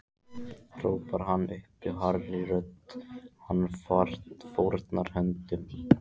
hrópar hann upp hárri röddu og fórnar höndum.